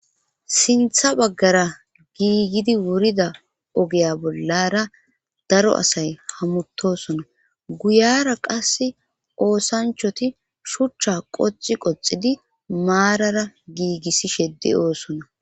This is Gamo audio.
sintha baggara giigidi wurida ogeya bollara daro asay hamutosona guyara qass oosanchoti shuchcha qoxi qoxidi maarara giigissi sheddi oosona